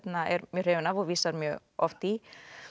er mjög hrifinn af og vísar mjög oft í